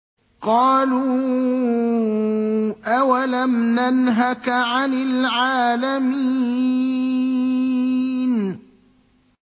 قَالُوا أَوَلَمْ نَنْهَكَ عَنِ الْعَالَمِينَ